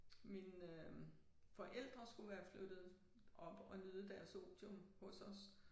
Mine øh forældre skulle være flyttet op og nyde deres otium hos os